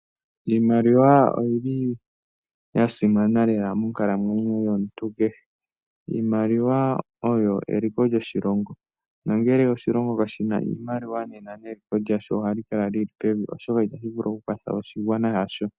Iimaliwa oyili ya simana lela monkalamwenyo yomuntu kehe. Iimaliwa oyi eliko lyoshilongo. Nongele oshilongo kashi na iimaliwa nena neliko lyasho ohali kala lili pevi oshoka itali vulu oku kwatha oshigwana shaantu.